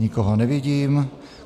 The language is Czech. Nikoho nevidím.